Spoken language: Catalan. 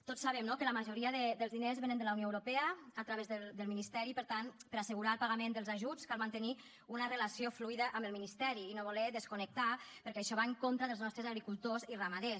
tots sabem no que la majoria dels diners vénen de la unió europea a través del ministeri per tant per assegurar el pagament dels ajuts cal mantenir una relació fluida amb el ministeri i no voler desconnectar perquè això va en contra dels nostres agricultors i ramaders